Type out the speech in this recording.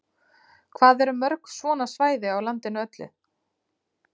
Hvað eru mörg svona svæði á landinu öllu?